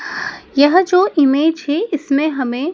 यह जो इमेज है इसमें हमें--